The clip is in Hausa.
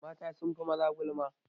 Mata sun fi maza gulma.